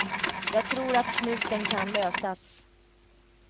Jag tror att knuten kan lösas.